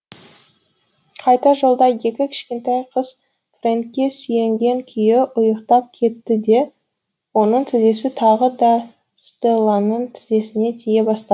қайтар жолда екі кішкентай қыз фрэнкке сүйенген күйі ұйықтап кетті де оның тізесі тағы да стелланың тізесіне тие бастады